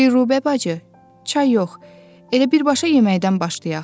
Dilrubə bacı, çay yox, elə birbaşa yeməkdən başlayaq.